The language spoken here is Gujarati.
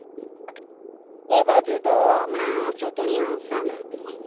આ બાજુ એ બાજુ તો હમણાં ચૂંટણી આવશે ને